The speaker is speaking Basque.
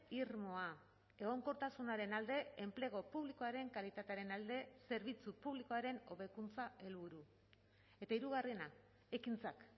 irmoa egonkortasunaren alde enplegu publikoaren kalitatearen alde zerbitzu publikoaren hobekuntza helburu eta hirugarrena ekintzak